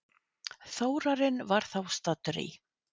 Þórarinn var þá staddur í